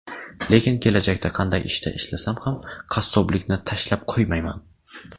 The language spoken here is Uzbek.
Lekin kelajakda qanday ishda ishlasam ham qassoblikni tashlab qo‘ymayman.